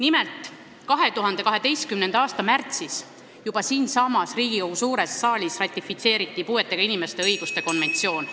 Nimelt, juba 2012. aasta märtsis ratifitseeriti siinsamas Riigikogu suures saalis puuetega inimeste õiguste konventsioon.